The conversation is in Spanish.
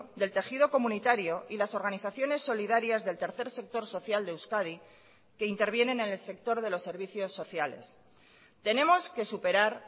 del tejido comunitario y las organizaciones solidarias del tercer sector social de euskadi que intervienen en el sector de los servicios sociales tenemos que superar